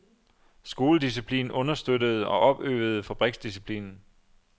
Skoledisciplinen understøttede og opøvede fabriksdisciplinen.